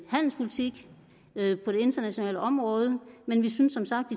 handelspolitik på det internationale område men vi synes som sagt